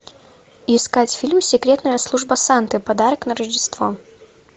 искать фильм секретная служба санты подарок на рождество